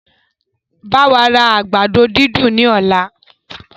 Báwa ra àgbàdo dídùn ní ọ̀la!